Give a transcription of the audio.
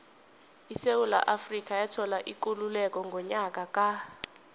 isewula afrika yathola ikululeko ngonyaka ka